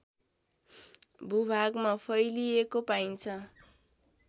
भूभागमा फैलिएको पाइन्छ